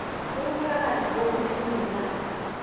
ubufakazi bokuthi unomlandu